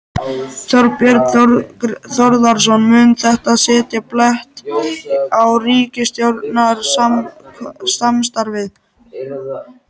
Þorbjörn Þórðarson: Mun þetta setja blett á ríkisstjórnarsamstarfið?